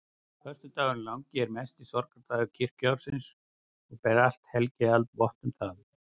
Föstudagurinn langi er mesti sorgardagur kirkjuársins og ber allt helgihald vott um það.